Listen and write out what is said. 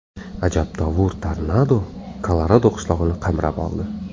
Ajabtovur tornado Kolorado qishlog‘ini qamrab oldi.